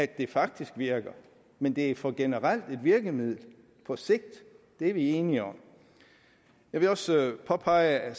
det faktisk virker men det er for generelt et virkemiddel på sigt det er vi enige om jeg vil også påpege